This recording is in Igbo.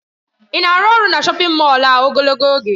Ị na-arụ ọrụ na shọpin Mọll a ogologo oge?